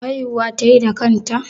Haihuwa tayi da kanta?